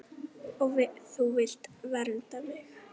Og þú vilt vernda mig.